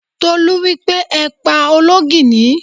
Tolú wípé: Ẹ pa olóńgìní!